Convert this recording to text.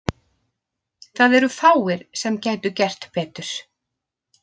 Það eru fáir sem gætu gert betur.